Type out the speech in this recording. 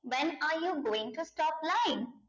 when are you going to stop lying